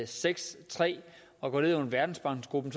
seks og går ned under verdensbankgruppen